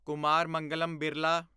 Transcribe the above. Kumar Mangalam Birla